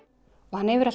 og hann hefur